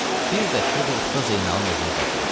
Bir dəstə də Usta Zeynalın evini qazıyırdı.